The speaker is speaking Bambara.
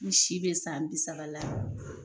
N si bɛ san bi saba la